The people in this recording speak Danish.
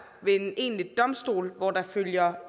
ved en egentlig domstol hvor der følger